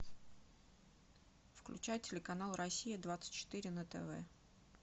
включай телеканал россия двадцать четыре на тв